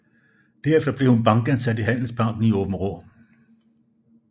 Derefter blev hun bankassistent i Handelsbanken i Aabenraa